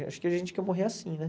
Acho que a gente quer morrer assim, né?